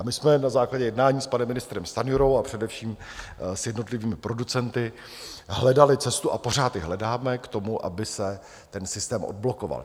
A my jsme na základě jednání s panem ministrem Stanjurou, a především s jednotlivými producenty hledali cestu, a pořád ji hledáme, k tomu, aby se ten systém odblokoval.